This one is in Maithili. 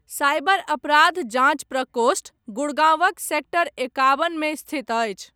साइबर अपराध जाँच प्रकोष्ठ गुड़गाँवक सेक्टर एकाबन मे स्थित अछि।